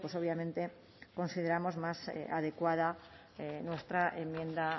obviamente consideramos más adecuada nuestra enmienda